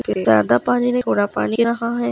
ज्यादा पानी नी थोडा पानी